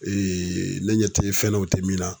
ne ɲɛ te fɛn na u te min na.